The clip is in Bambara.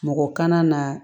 Mɔgɔ kana na